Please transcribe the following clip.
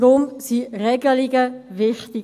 Deshalb sind Regelungen wichtig.